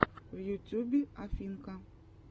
в ютюбе афинка